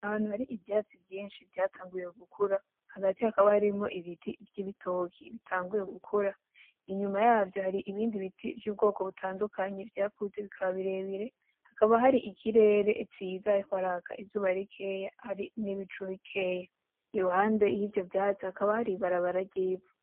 Ahantu hari ivyatsi vyinshi vyatanguye gukura hagati hakaba harimwo ibiti vy'ibitoki bitanguye gukura inyuma yavyo hari ibindi biti vy'ubwoko butandukanye vyakuze bikaba birebire hakaba hari ikirere ciza hariko haraka izuba rikeya hari n'ibicu bikeya; iruhande yivyo vyatsi hakaba hari ibarabara vy'ivu.